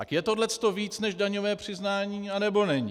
Tak je tohleto víc než daňové přiznání, nebo není?